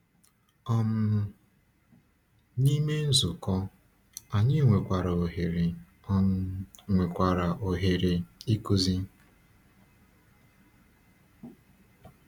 um N’ime nzukọ, anyị nwekwara ohere um nwekwara ohere um ịkụzi.